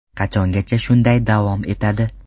Qachongacha shunday davom etadi?